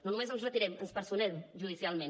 no només ens retirem ens personem judicialment